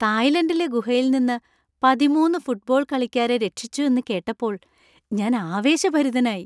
തായ്‌ലാൻഡിലെ ഗുഹയിൽ നിന്ന് പതിമൂന്ന് ഫുട്ബോൾ കാളിക്കാരെ രക്ഷിച്ചു എന്ന് കേട്ടപ്പോൾ ഞാൻ ആവേശഭരിതനായി.